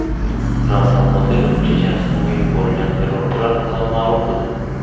Ramzan Qodirov Chechenistonga yuborilgan terrorchilar haqida ma’lum qildi.